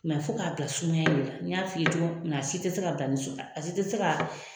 fo k'a bila sumaya de la n y'a f'i cogoya min na a si tɛ se ka bila ni a s tɛ se ka